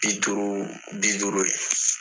Biduuru, bi duuru ye.